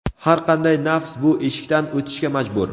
Har qanday nafs bu eshikdan o‘tishga majbur.